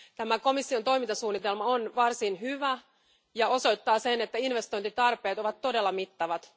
Tämä komission toimintasuunnitelma on varsin hyvä ja osoittaa sen, että investointitarpeet ovat todella mittavat.